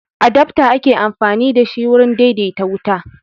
Adafta ake amfani da shi wurin daidaita wuta